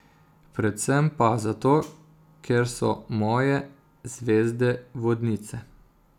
Predvsem pa zato, ker so moje zvezde vodnice.